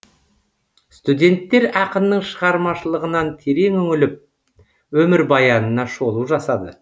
студенттер ақынның шығармашлығынан терең үңіліп өмірбаянына шолу жасады